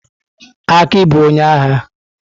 Aki bụ onye agha.